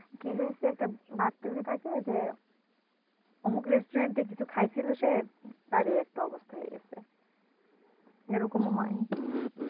কি হয়েছে একটা বাচ্চা যদি থাকে যে অমুক restaurant এ কিছু খাই ছিল সে তার এই একটা অবস্থা হয়ে গেছে এরকম হয়